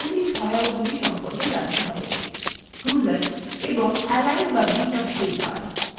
এখন আমাদের মৌলিক সহায়কগুলি সম্পর্কে জানতে হবেruler এবং এলাইন বা বিন্যাস toolbar